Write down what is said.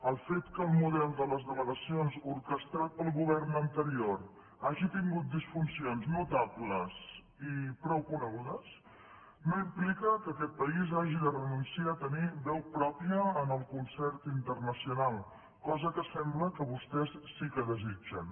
el fet que el model de les delegacions orquestrat pel govern anterior hagi tingut disfuncions notables i prou conegudes no implica que aquest país hagi de renunciar a tenir veu pròpia en el concert internacional cosa que sembla que vostès sí que desitgen